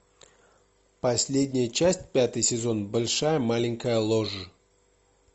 последняя часть пятый сезон большая маленькая ложь